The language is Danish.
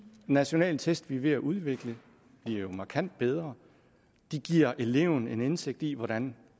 nationale test vi er ved at udvikle bliver jo markant bedre de giver eleven en indsigt i hvordan